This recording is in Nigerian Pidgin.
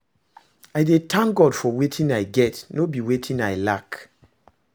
I dey tank God for wetin I get, no be wetin I lack